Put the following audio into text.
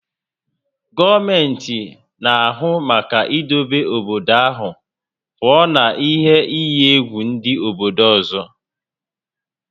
Gọọmenti na-ahụ maka idobe obodo ahụ pụọ na ihe iyi egwu ndị obodo ọzọ